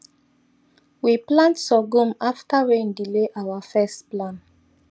we plant sorghum after rain delay our first plan